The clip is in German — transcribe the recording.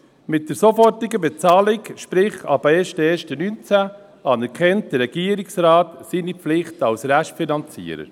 Mit der sofortigen Bezahlung, sprich: ab 1.1.2019, anerkennt der Regierungsrat seine Pflichten als Restfinanzierer.